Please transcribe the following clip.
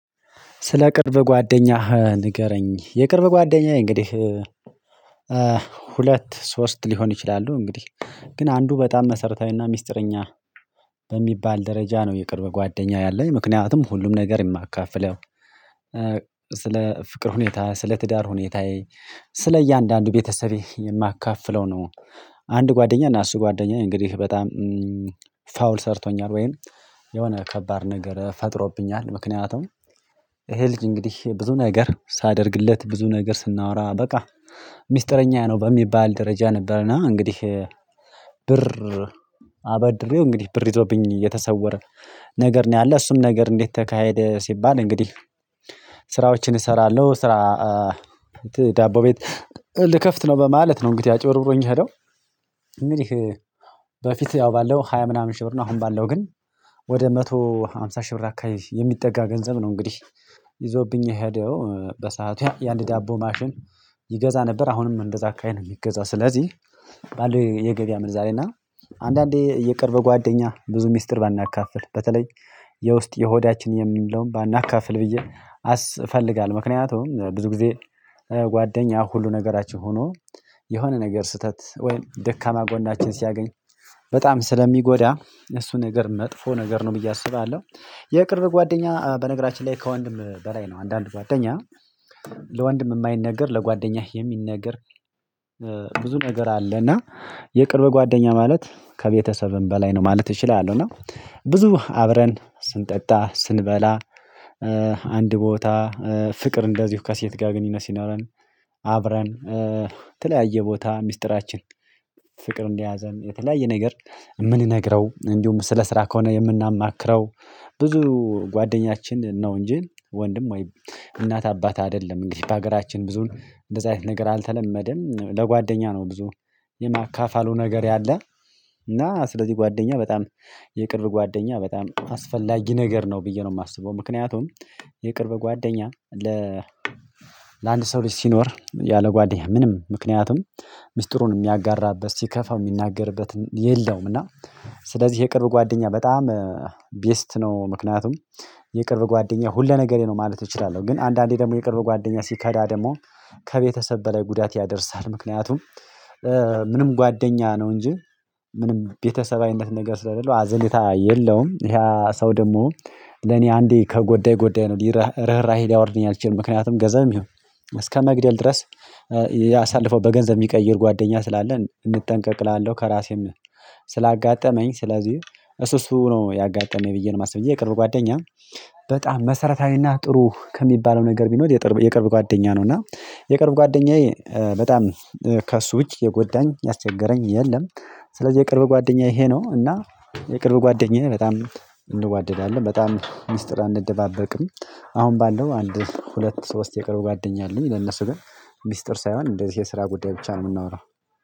ስለ ቅርብ ጓደኛህ ንገረኝ? የቅርብ ጓደኛህ እንግዲህ ሁለት ሶስት ሊሆን ይችላሉ እንግዲህ ግን አንዱ በጣም መሰረታዊና ሚስጥረኛ በሚባል ደረጃ ነው የቅርብ ጓደኛ ያለኝ ምክንያቱም ሁሉም ነገር የማካፍለው ስለ ፍቅር ሁኔታ ስለ ትዳር ሁኔታዬ ስለ እያንዳንዱ ቤተሰቤ የማካፍለው ነው። አንድ ጓደኛ እና አሱ ጓደኛዬ እንግዲህ በጣም ፋውል ሰርቶኛል ወይም የሆነ ከባድ ነገር ፈጥሮብኛል ምክንያቱም ይሄ ልጅ እንግዲህ ብዙ ነገር ሳደርግለት ብዙ ነገር ስናወራ በቃ ሚስጥረኛ ነው በሚባል ደረጃ ነበርና እንግዲህ ብር አበድሬው እንግዲህ ብር ይዞብኝ የተሰወረ ነገር ነው። ያለ እሱም ነገር እንዴት ተካሄደ ሲባል እንግዲህ ስራዎችን እሰራለሁ ስራ ዳቦ ቤት ልከፍት ነው በማለት ነው። እንግዲህ አጭብርብሮኝ የሄደው እንግዲህ በፊት ያው ባለው ሃያ ምናምን ሺህ ብር ነው አሁን ባለው ግን ወደ አንድ መቶ አምሳ ሺህ ብር አካባቢ የሚጠጋ ገንዘብ ነው። እንግዲህ ይዞብኝ የሄደው በሰአቱ የአንድ ዳቦ ማሽን ይገዛ ነበር አሁንም እንደዛ አካባቢ ነው የሚገዛው። ስለዚህ ባለው የገበያ ምንዛሬ እና አንዳንዴ የቅርብ ጓደኛ ብዙ ሚስጥር ባናካፍል በተለይ የውስጥ የሆዳችን የምንለውን ባናካፍል ብዬ አስ እፈልጋለሁ። ምክንያቱም ብዙ ጊዜ ጓደኛ ሁሉ ነገራችን ሆኖ የሆነ ነገር ስህተት ወይም ደካማ ጎናችን ሲያገኝ በጣም ስለሚጎዳ እሱ ነገር መጥፎ ነገር ነው ብዬ አስባለሁ። የቅርብ ጓደኛ በነገራችን ላይ ከወንድም በላይ ነው። አንዳንድ ጓደኛ ለወንድም የማይነገር ለጓደኛህ የሚነገር ብዙ ነገር አለ። የቅርብ ጓደኛ ማለት ከቤተሰብም በላይ ነው ማለት እችላለሁ። እና ብዙ አብረን ስንጠጣ ስንበላ አንድ ቦታ ፍቅር እንደዚሁ ከሴት ጋር ግንኙነት ሲኖረን አብረን የተለያየ ቦታ ሚስጥራችን ፍቅር እንደያዘን የተለያየ ነገር የምንነግረው እንዲሁም ስለ ስራ ከሆነ የምናማክረው ብዙ ጓደኛችን ነው። እንጂ ወንድም ወይም እናት አባት አይደለም እንግዲህ በሀገራችን ብዙን እንደዚህ አይነት ነገር አልተለመደም። ለጓደኛ ነው ብዙ የማካፈሉ ነገር ያለ እና ስለዚህ ጓደኛ በጣም የቅርብ ጓደኛ በጣም አስፈላጊ ነገር ነው። ብዬ ነው የማስበው ምክንያቱም የቅርብ ጓደኛ ለ ለአንድ ሰው ልጅ ሲኖር ያለ ጓደኛ ምንም ምክንያቱም ምስጢሩን የሚያጋራበት ሲከፋው የሚናገርበት የለውም። እና ስለዚህ የቅርብ ጓደኛ በጣም ቤስት ነው ምክንያቱም የቅርብ ጓደኛ ሁለ ነገሬ ነው ማለት እችላለሁ። ግን አንዳንዴ ደግሞ የቅርብ ጓደኛ ሲከዳ ደግሞ ከቤተሰብ በላይ ጉዳት ያደርሳል። ምክንያቱም ምንም ጓደኛ ነው እንጂ ምንም ቤተሰባዊነት ነገር ስለሌለው አዘለታ የለውም ይሄ ሰው ደግሞ ለኔ አንዴ ከጎዳይ ጎዳይ ነው ርህራሄ ሊያወርድልኝ አይችልም። ምክንያቱም ገንዘብ ይሁን እስከመግደል ድረስ ያሳልፈው በገንዘብ የሚቀይር ጓደኛ ስላለ እንጠንቀቅ እላለሁ። ከራሴም ስላጋጠመኝ ስለዚህ እሱ እሱ ነው ያጋጠመኝ ብዬ ነው የማስበው እንጂ የቅርብ ጓደኛ በጣም መሰረታዊና ጥሩ ከሚባለው ነገር ቢኖር የቅርብ ጓደኛ ነው። እና የቅርብ ጓደኛዬ በጣም ከእሱ ውጪ የጎዳኝ ያስቸገረኝ የለም። ስለዚህ የቅርብ ጓደኛ ይሄ ነው እና የቅርብ ጓደኛዬ በጣም እንዋደዳለን በጣም ሚስጥር አንደባበቅም። አሁን ባለው አንድ ሁለት ሶስት የቀርብ ጓደኛ አሉኝ ለነሱ ግን ሚስጥር ሳይሆን እንደዚህ የስራ ጉዳይ ብቻ ነው የምናወራው።